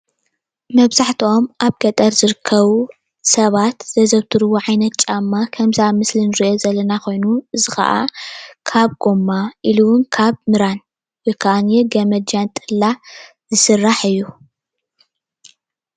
መብዛሕትኦም ኣብ ገጠር ዝርከቡ ሰባት ዛዘውትርዎ ዓይነት ጫማ ከምዚ ኣብ ምስሊ እንሪኦ ዘለና ኮይኑ እዚ ከዓ ካብ ጎማ ኢሉ ምራን ወይ ከዓ ነየአይ ካብ ገመድ ጃንጥላ ዝስራሕ እዩ፡፡